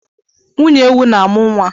Nwunye ewu na-amụ nwa.